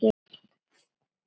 Og veistu hvað þú ert?